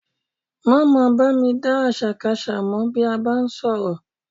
Má máa bá mi dá àṣàkaṣà mọ bí a bá ń sọ̀rọ̀